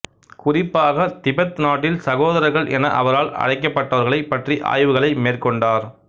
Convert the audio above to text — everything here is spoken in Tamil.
குறிப்பாக திபெத் நாட்டில் சகோதரர்கள் என அவரால் அழைக்கப்பட்டவர்களைப் பற்றி ஆய்வுகளை மேற்கொண்டார்